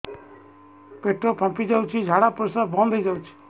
ପେଟ ଫାମ୍ପି ଯାଉଛି ଝାଡା ପରିଶ୍ରା ବନ୍ଦ ହେଇ ଯାଉଛି